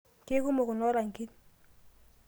keikumok kulo rangin